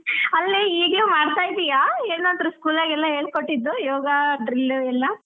ಅಲ್ಲೇ ಈಗ್ಲೂ ಮಾಡ್ತಾ ಇದ್ಯಾ ಏನಾದ್ರೂ school ನಾಗೆಲ್ಲ ಹೇಳ್ಕೊಟ್ಟಿದ್ದು ಯೋಗ drill ಎಲ್ಲ.